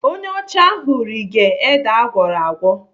Onye ọcha ahụ rige ede agwọrọ agwọ..